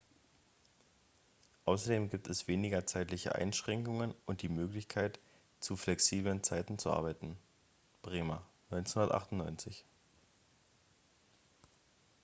außerdem gibt es weniger zeitliche einschränkungen und die möglichkeit zu flexiblen zeiten zu arbeiten. bremer 1998